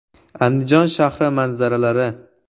Andijon shahri manzaralari.